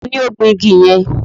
Tani ó gbin igi yẹn?